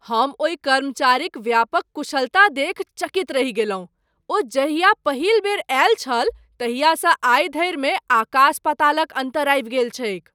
हम ओहि कर्मचारीक व्यापक कुशलता देखि चकित रहि गेलहुँ। ओ जहिया पहिल बेर आयल छल तहियासँ आइ धरिमे आकास पातालक अन्तर आबि गेल छैक।